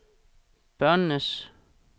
børnenes